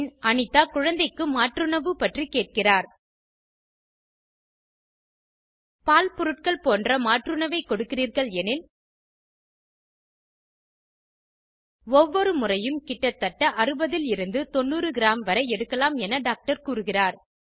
பின் அனிதா குழந்தைக்கு மாற்றுணவு பற்றி கேட்கிறார் பால் பொருட்கள் போன்ற மாற்றுணவை கொடுக்கிறீர்கள் எனில் ஒவ்வொரு முறையும் கிட்டத்தட்ட 60 லிருந்து 90 கிராம் வரை எடுக்கலாம் என டாக்டர் கூறுகிறார்